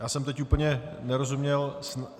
Já jsem teď úplně nerozuměl.